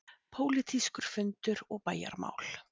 PÓLITÍSKUR FUNDUR OG BÆJARMÁL